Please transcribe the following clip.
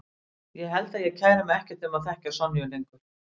Ég held að ég kæri mig ekkert um að þekkja Sonju lengur.